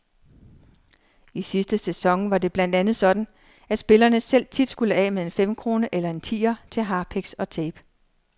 I sidste sæson var det blandt andet sådan, at spillerne selv tit skulle af med en femkrone eller en tier til harpiks og tape.